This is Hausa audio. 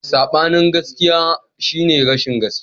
Sabanin gaskiya shine rashin gaskiya.